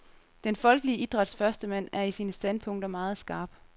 Den folkelige idræts førstemand er i sine standpunkter meget skarp.